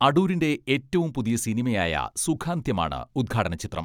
അടൂരിന്റെ ഏറ്റവും പുതിയ സിനിമയായ സുഖാന്ത്യമാണ് ഉദ്ഘാടന ചിത്രം.